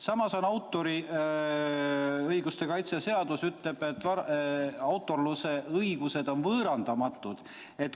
Samas autoriõiguse seadus ütleb, et õigus autorsusele on võõrandamatu.